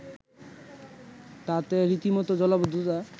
তাতে রীতিমত জলাবদ্ধতা